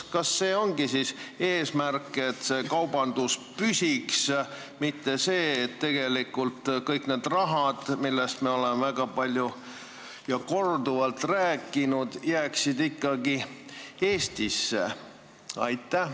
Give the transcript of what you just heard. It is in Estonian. Kas see ongi siis eesmärk, et piirikaubandus püsiks, mitte see, et tegelikult kõik see raha, millest me oleme väga palju ja korduvalt rääkinud, jääks ikkagi Eestisse?